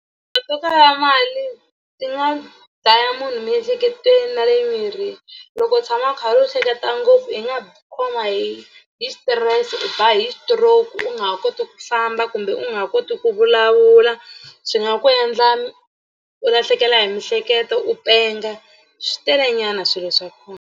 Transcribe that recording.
To kala mali ti nga dlaya munhu miehleketweni na le mirini loko u tshama u karhi u hleketa ngopfu i nga khoma hi hi xitirese u ba hi stroke u nga ha koti ku famba kumbe u nga ha koti ku vulavula swi nga ku endla u lahlekela hi miehleketo u penga swi telenyana swilo swa kona.